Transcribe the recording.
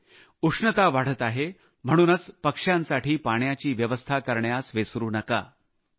होय उष्णता वाढत आहे म्हणूनच पक्ष्यांसाठी पाण्याची व्यवस्था करण्यास विसरू नका